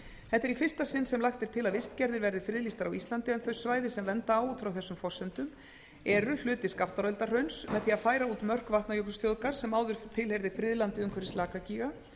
þetta er í fyrsta sinn sem lagt er til að vistgerðir verði friðlýstar á íslandi en þau svæði sem vernda á út frá þessum forsendur eru hluti skaftáreldahrauns með því að færa út mörk vatnajökulsþjóðgarðs sem áður tilheyrði friðlandi umhverfis lakagíga